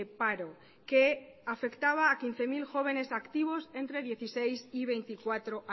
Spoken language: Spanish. paro que afectaba a quince mil jóvenes activos entre dieciséis y veinticuatro